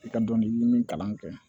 I ka dɔnkili min kalan kɛ